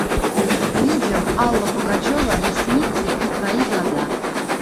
видео алла пугачева ресницы и твои глаза